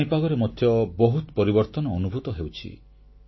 ପାଣିପାଗରେ ମଧ୍ୟ ବହୁତ ପରିବର୍ତ୍ତନ ଅନୁଭୂତ ହେଉଛି